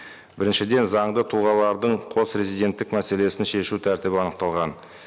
біріншіден заңды тұлғалардың қос резиденттік мәселесін шешу тәртібі анықталған